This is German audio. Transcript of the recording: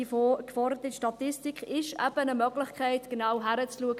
Die geforderte Statistik ist eben eine Möglichkeit, genau hinzuschauen.